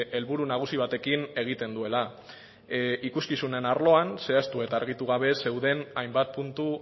helburu nagusi batekin egiten duela ikuskizunen arloan zehaztu eta argitu gabe zeuden hainbat puntu